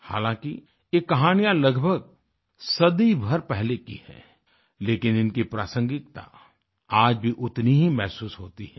हालांकि ये कहानियाँ लगभग सदी भर पहले की हैं लेकिन इनकी प्रासंगिकता आज भी उतनी ही महसूस होती है